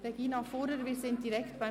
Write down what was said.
Regina Fuhrer, wir sind direkt beim